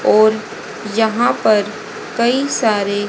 और यहां पर कई सारे--